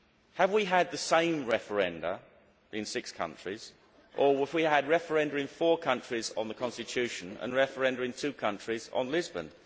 Have we had the same referenda in six countries, or have we had referenda in four countries on the Constitution and referenda in two countries on Lisbon?